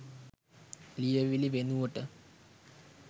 ලියවිලි වෙනුවට